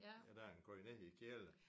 Ja derind går de ned i kælder